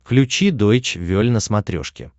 включи дойч вель на смотрешке